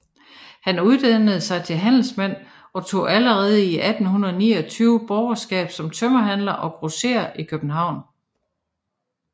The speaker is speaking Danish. Han uddannede sig til handelsmand og tog allerede 1829 borgerskab som tømmerhandler og grosserer i København